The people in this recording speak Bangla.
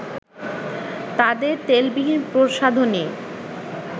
তাদের তেলবিহীন প্রসাধনী